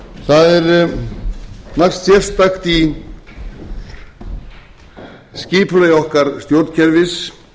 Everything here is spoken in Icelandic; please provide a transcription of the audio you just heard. það er margt sérstakt í skipulagi okkar stjórnkerfis